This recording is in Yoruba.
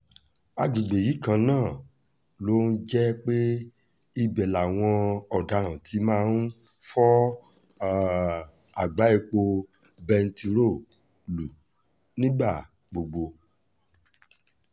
àgbègbè yìí kan náà ló um jẹ́ pé ibẹ̀ làwọn ọ̀daràn ti máa ń fọ um àgbá epo bẹntiróòlù nígbà gbogbo